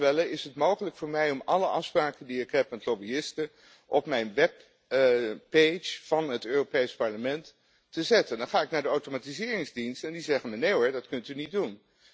Volgens Klaus Welle is het mogelijk voor mij om alle afspraken die ik heb met lobbyisten op mijn webpage van het Europees Parlement te zetten en dan ga ik naar de automatiseringsdienst en die zeggen Nee hoor, dat kunt u niet doen.